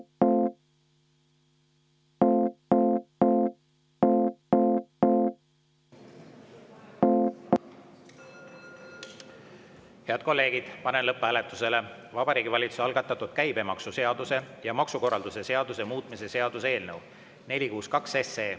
Head kolleegid, panen lõpphääletusele Vabariigi Valitsuse algatatud käibemaksuseaduse ja maksukorralduse seaduse muutmise seaduse eelnõu 462.